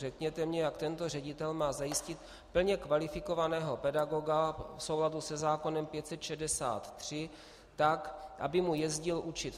Řekněte mně, jak tento ředitel má zajistit plně kvalifikovaného pedagoga v souladu se zákonem 563 tak, aby mu jezdil učit.